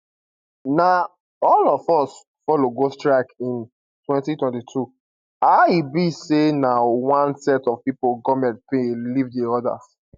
na all of us follow go strike in 2022 how e be say na one set of pipo goment pay and leave di odas